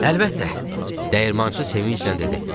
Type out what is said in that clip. Dəyirmançı sevinclə dedi.